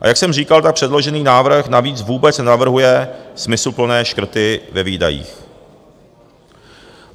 A jak jsem říkal, tak předložený návrh navíc vůbec nenavrhuje smysluplné škrty ve výdajích.